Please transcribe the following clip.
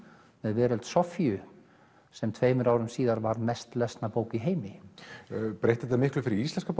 með Veröld Soffíu sem tveimur árum síðar var mest lesna bókin í heimi breytti þetta miklu fyrir íslenskar